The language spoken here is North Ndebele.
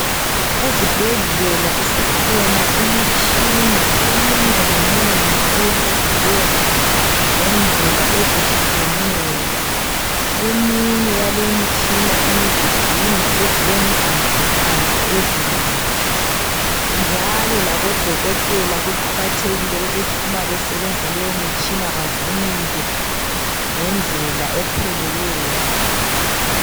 Ezibhedlela isikhona imitshini eminenginengi ebunjwe ngendlela ezehlukeneyo. Eminye yaleyi imitshina iyizigxingi ezilentambontambo ezinengi njalo labo dokotela kuqakathekile ukuthi uma besebenzisa leyi mitshina bavunule ngendlela epheleleyo.